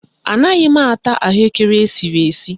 Anaghị m ata ahụekere esiri esi